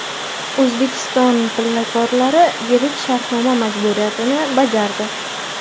O‘zbekiston pillakorlari yillik shartnoma majburiyatini bajardi.